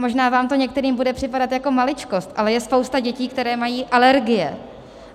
Možná vám to některým bude připadat jako maličkost, ale je spousta dětí, které mají alergie.